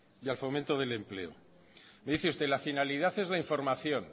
y al fomento del empleo me dice usted la finalidad es la información